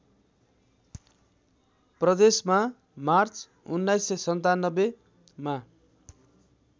प्रदेशमा मार्च १९९७ मा